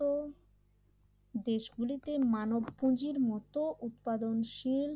তো দেশগুলিতে মানব পুঁজির মতো উৎপাদনশীল